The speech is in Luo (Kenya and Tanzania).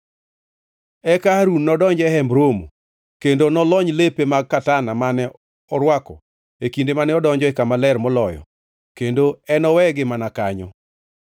“Eka Harun nodonj ei Hemb Romo, kendo nolony lepe mag katana mane orwako e kinde mane odonjo e Kama Ler Moloyo kendo enowegi mana kanyo.